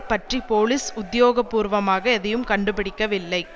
பற்றி போலிஸ் உத்தியோகபூர்வமாக எதையும் கண்டுபிடிக்கவில்லை